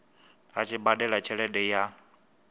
a tshi badela tshelede ya